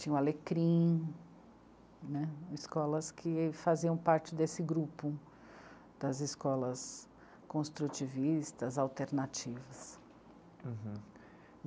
Tinha o Alecrim né, escolas que faziam parte desse grupo, das escolas construtivistas, alternativas.